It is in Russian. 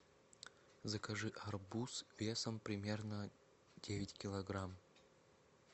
закажи арбуз весом примерно девять килограмм